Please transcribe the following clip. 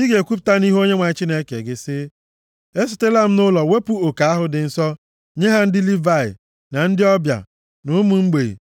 Ị ga-ekwupụta nʼihu Onyenwe anyị Chineke gị sị, “Esitela m nʼụlọ wepụ oke ahụ dị nsọ, nye ha ndị Livayị, na ndị ọbịa, na ụmụ mgbei,